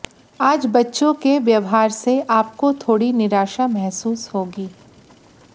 आज बच्चों की व्यवहार से आपको थोड़ी निराशा महसूस होगी